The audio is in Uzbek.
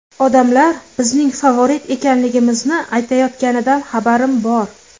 Odamlar bizning favorit ekanligimizni aytayotganidan xabarim bor.